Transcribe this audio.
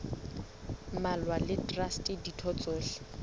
mmalwa le traste ditho tsohle